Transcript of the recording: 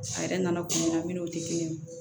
A yɛrɛ nana kun min na ne n'o tɛ kelen ye